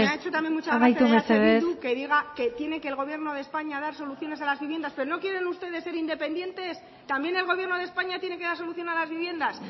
me ha hecho también mucha gracia eh bildu que diga amaitu mesedez que tiene que el gobierno de españa dar soluciones a las viviendas pero no quieren ustedes ser independientes también el gobierno de españa tiene que dar solución a las viviendas